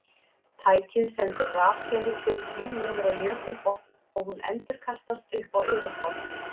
Tækið sendir rafsegulbylgju niður á jökulbotn og hún endurkastast upp á yfirborð.